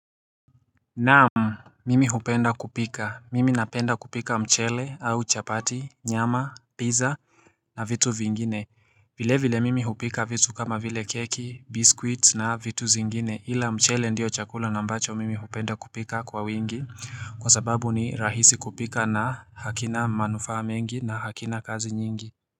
Naam, Mimi hupenda kupika, mimi napenda kupika mchele au chapati, nyama, pizza na vitu vingine vile vile mimi hupika vitu kama vile keki, biskuiti na vitu zingine ila mchele ndiyo chakula na ambacho mimi hupenda kupika kwa wingi Kwa sababu ni rahisi kupika na hakina manufaa mengi na hakina kazi nyingi.